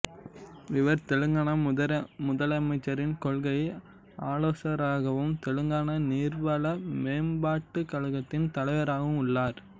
இவர் தெலங்காணா முதலமைச்சரின் கொள்கை ஆலோசகராகவும் தெலங்காணா நீர்வள மேம்பாட்டுக் கழகத்தின் தலைவராகவும் உள்ளார்